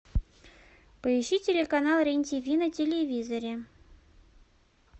поищи телеканал рен тв на телевизоре